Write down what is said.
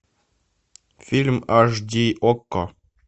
фильм аш ди окко